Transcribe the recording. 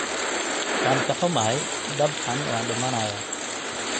Waan ka xumahay, dabcan waan dhimanayaa.